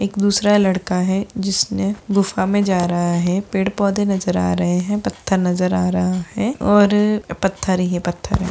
एक दूसरा लड़का है जिसने गुफा में जा रहा है पेड़-पौधे नजर आ रहा है पत्थर नजर आ रहा है और पत्थर ही है पत्थर --